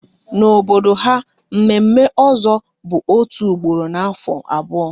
N'obodo ha, mme mme ozo bụ otu ugboro n'afọ abụọ